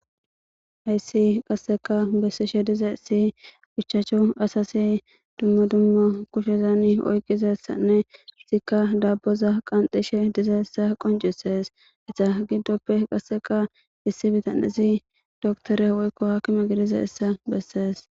hayssi qasseka bessishe diza issi guchchaachu asasi dummo dummo kushezani oyqizassanne zikka daabboza qanxishe dizaessa qoncisees esa giddoppe qasseka issi bitanezi doktore woykko hakime gidiza hissa bessees